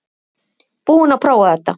Búinn að prófa þetta